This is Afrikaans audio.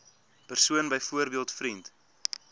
persoon byvoorbeeld vriend